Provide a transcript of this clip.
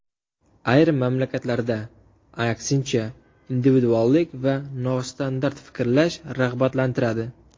Ayrim mamlakatlarda, aksincha, individuallik va nostandart fikrlash rag‘batlantiradi.